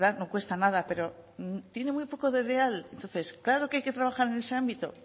no cuesta nada pero tiene muy poco de real entonces claro que hay que trabajar en ese ámbito